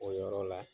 O yɔrɔ la